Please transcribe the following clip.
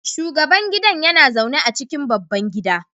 shugaban gidan yana zaune a cikin babban gida